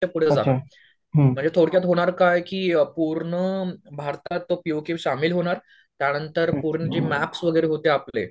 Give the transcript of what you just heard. त्यापुढे जाणार म्हणजे थोडक्यात होणार काय की पूर्ण भारतात तो पीओके शामिल होणार त्यांनंतर पूर्ण मॅप्स वैगेरे होते जे आपले.